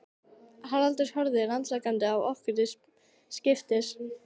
Haraldur horfir rannsakandi á okkur til skiptis.